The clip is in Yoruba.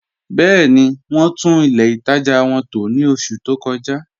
Bẹẹ̀ni, wọn tún ilẹ̀ ìtaja wọn tó ní ọṣù tó kọ̀ja